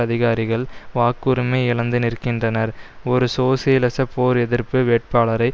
அதிகாரிகல் வாக்குரிமை இழந்து நிற்கின்றனர் ஒரு சோசியலிச போர் எதிர்ப்பு வேட்பாளரை